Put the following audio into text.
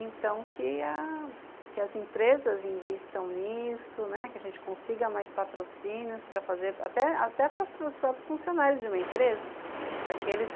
Então, que a que as empresas invistam nisso, né, que a gente consiga mais patrocínios, para fazer, até para os próprios funcionários de uma empresa. Para que eles